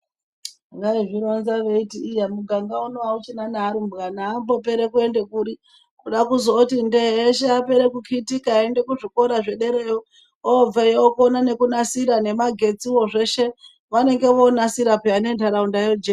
Vaizvironza veiti iya muganga uno hauchina nearumbwana ambopere kuende kuri. Kuda kuzoti ndee eshe apere kukitika kuzvikora zvedereyo, obeyo okona nekunasira nemagetsivo zveshe vanenge vonasira peya nentaraunda yojeka.